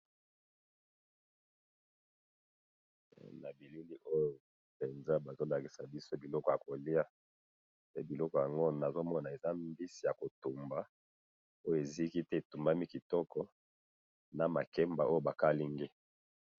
Eh! Nabilili oyo penza bazolakisa biso biloko yakoliya, pe biloko yango nazomona eza mbisi yakotumba, oyo iziki pe etumbami kitoko namakemba oyo bakalingi.